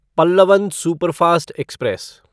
Pallavan superfast express